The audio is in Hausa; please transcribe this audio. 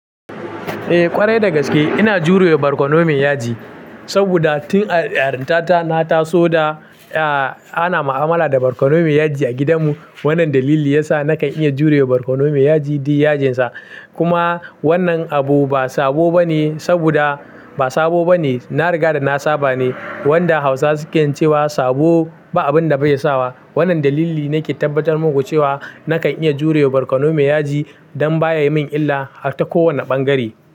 Eh ƙwarai dagaske ina jurewa barkono me yaji, saboda tun a yarinta ta na taso da ana mu'amala da barkono me yaji a gidan mu. Wannan dalili yasa na kan iya jurewa barkono me yaji duk yajinsa. Kuma wannan abu ba sabo bane saboda ba sabo bane. Nariga da na sabane wanda Hausawa sukan cewa sabo ba abinda bai sa wa. Wannan dalili nake tabbatar maku cewa na kan iya jurewa barkono me yaji dan baya yin min illa har ta kowanne bangare.